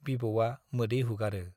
बिबौवा मोदै हुगारो।